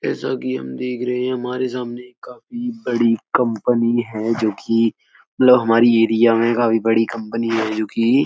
जैसा कि हम देख रहे है हमारे सामने काफ़ी बड़ी कंपनी है जो कि मतलब हमारे ऐरीया में काफ़ी बड़ी कंपनी है जो कि --